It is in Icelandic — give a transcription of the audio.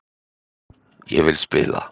Ég vil spila.